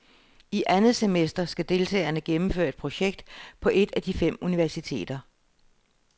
I andet semester skal deltagerne gennemføre et projekt på et af de fem universiteter.